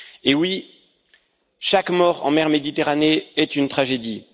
Oui, chaque mort en mer Méditerranée est une tragédie.